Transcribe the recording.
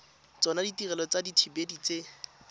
tsona ditirelo tsa dithibedi tse